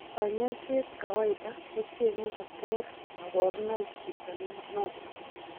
Kanyoiseet kawaiada kocheng'e koter kaborunoik chito noton